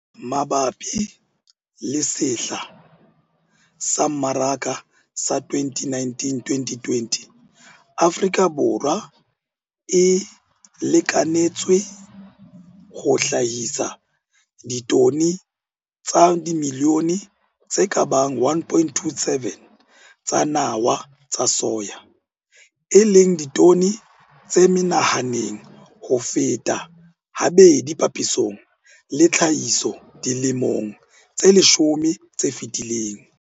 Mabapi le sehla sa mmaraka sa 2019 2020, Afrika Borwa e lekanetswa ho hlahisa ditone tsa dimilione tse ka bang 1,27 tsa nawa tsa soya, e leng ditone tse menahaneng ho feta habedi papisong le tlhahiso dilemong tse leshome tse fetileng.